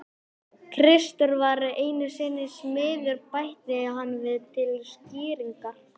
Kristur var einu sinni smiður bætti hann við til skýringar.